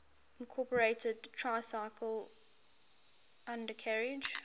incorporated tricycle undercarriage